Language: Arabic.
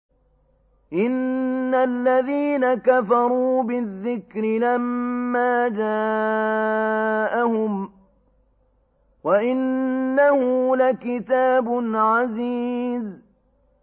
إِنَّ الَّذِينَ كَفَرُوا بِالذِّكْرِ لَمَّا جَاءَهُمْ ۖ وَإِنَّهُ لَكِتَابٌ عَزِيزٌ